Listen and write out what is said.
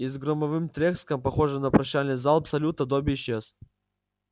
и с громовым треском похожим на прощальный залп салюта добби исчез